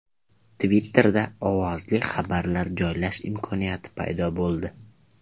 Twitter’da ovozli xabarlar joylash imkoniyati paydo bo‘ldi.